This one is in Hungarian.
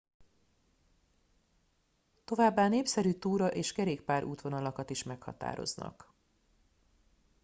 továbbá népszerű túra és kerékpár útvonalakat is meghatároznak